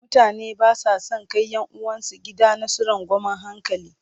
Mutane ba sa son kai 'yan uwansu gidanasu rangwamen hankali.